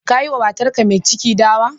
Kayi wa matarka mai ciki dawa?